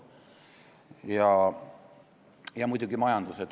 Ja muidugi on ka muu majandus.